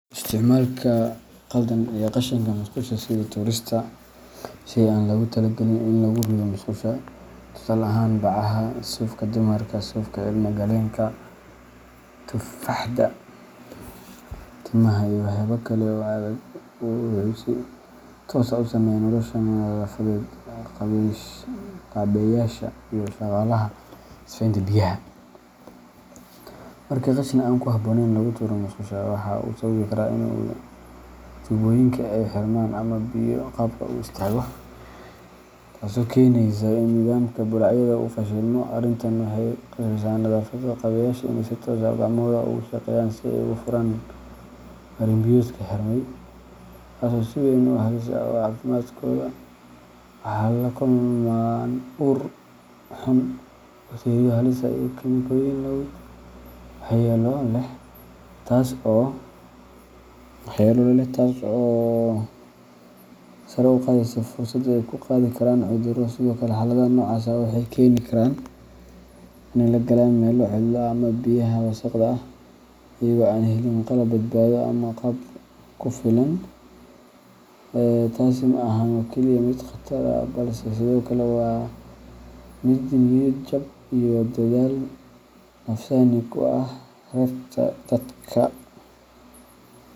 Isticmaalka qaldan ee qashinka musqusha sida tuurista shay aan lagu talagelin in lagu rido musqusha, tusaale ahaan: bacaha, suufka dumarka, suufka ilmo-galeenka, tufaaxda, timaha, iyo waxyaabo kale oo adag wuxuu si toos ah u saameeyaa nolosha nadaafad-qabeyaasha iyo shaqaalaha sifeynta biyaha. Marka qashin aan ku habboonayn lagu tuuro musqusha, waxa uu sababi karaa in tuubooyinka ay xirmaan ama biyo-qubka uu istaago, taasoo keeneysa in nidaamka bullaacadaha uu fashilmo. Arrintan waxay ku khasbeysaa nadaafad-qabeyaasha in ay si toos ah gacmahooda ugu shaqeeyaan si ay u furaan marin-biyoodka xirmay, taas oo si weyn halis ugu ah caafimaadkooda. Waxay la kulmaan ur xun, bakteeriyo halis ah, iyo kiimikooyin waxyeello leh, taasoo sare u qaadaysa fursadda ay ku qaadi karaan cudurro. Sidoo kale, xaaladaha noocaas ah waxa ay keeni karaan inay galaan meelo cidlo ah ama biyaha wasakhda ah, iyagoo aan helin qalab badbaado ama agab ku filan. Taasi ma ahan oo kaliya mid khatar ah balse sidoo kale waa mid niyad-jab iyo daal nafsaani ah ku reebta dadka.